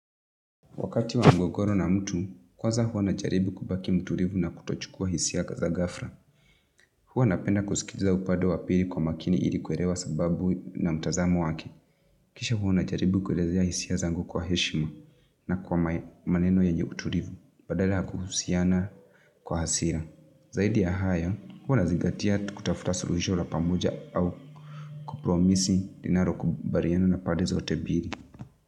Wakati wa mgogoro na mtu, kwanza hua najaribu kubaki mtulivu na kutochukua hisia za gafla. Huwa napenda kusikiliza upade wa pili kwa makini ilikuelewa sababu na mtazamo wake. Kisha huwa najaribu kuelezea hisia zangu kwa heshima na kwa maneno yenye utulivu, badala kuhusiana kwa hasira. Zaidi ya haya, huwa nazingatia kutafuta suluhisho la pamoja au kupromisi inalo kubaliana na pande zote mbili.